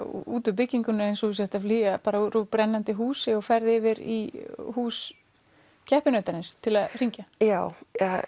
út úr byggingunni eins og þú sért að flýja úr brennandi húsi og ferð yfir í hús keppinautarins til að hringja já